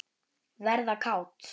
Verða kát.